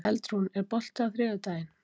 Eldrún, er bolti á þriðjudaginn?